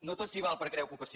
no tot s’hi val per crear ocupació